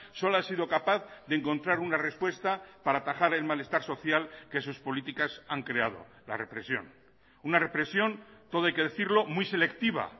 solo ha sido capaz de encontrar una respuesta para atajar el malestar social que sus políticas han creado la represión una represión todo hay que decirlo muy selectiva